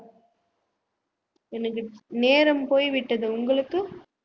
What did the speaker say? எனக்கு நேரம் போய்விட்டது உங்களுக்கு